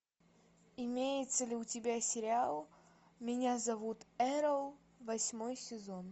имеется ли у тебя сериал меня зовут эрл восьмой сезон